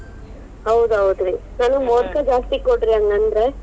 ಹೌದ್ ಹೌದ್ರೀ, ಮೋದಕಾ ಜಾಸ್ತಿ ಕೊಡ್ರಿ ಹಂಗಂದ್ರ.